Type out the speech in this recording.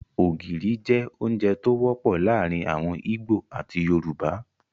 Ógiri jẹ ounjẹ to wọpọ laarin awọn Igbo ati Yorùbá